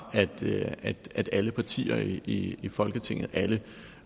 at alle partier i folketinget alle